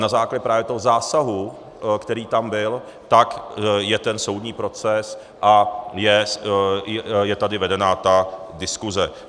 Na základě právě toho zásahu, který tam byl, tak je ten soudní proces a je tady vedena ta diskuse.